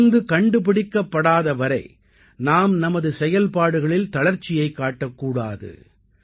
மருந்து கண்டுபிடிக்கப்படாத வரை நாம் நமது செயல்பாடுகளில் தளர்ச்சியைக் காட்டக் கூடாது